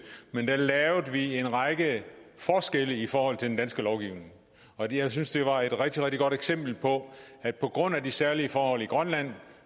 men der lavede vi en række forskelle i forhold til den danske lovgivning og jeg synes det var et rigtig rigtig godt eksempel på at på grund af de særlige forhold i grønland